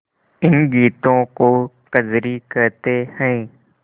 इन गीतों को कजरी कहते हैं